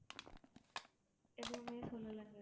எதுவுமே சொல்லலைங்க